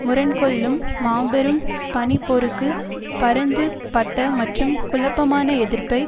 முரண்கொள்ளும் மாபெரும் பணி போருக்கு பரந்து பட்ட மற்றும் குழப்பமான எதிர்ப்பை